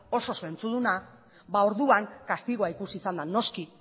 oso zentzuduna ba orduan kastigoa ikusi izan da noski